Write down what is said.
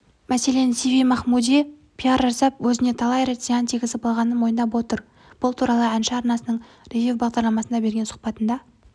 мәселен сиви махмуди пиар жасап өзіне талай рет зиян тигізіп алғанын мойындап отыр бұл туралы әнші арнасының ревю бағдарламасына берген сұхбатында